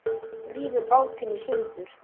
Rífur bátinn í sundur.